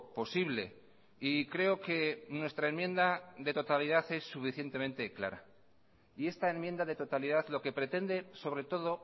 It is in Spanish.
posible y creo que nuestra enmienda de totalidad es suficientemente clara y esta enmienda de totalidad lo que pretende sobre todo